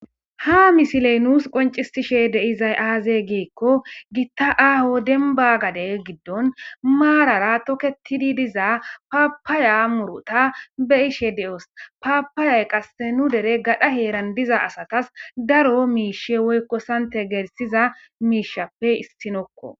ha misiley nuus qoncisishe de7izay aaze giikko gitta aaho denba gade giddon maarara toketidi diza paapaya muruta be7ishe de7os paapayay qasse nu dere gadha heeran diza asatas daro miishe woykko sante gelsiza miishappe issinokko.